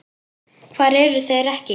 Hvar eru þeir ekki?